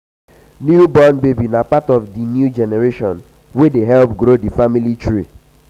new born baby na part of di new generation wey dey help grow di family tree.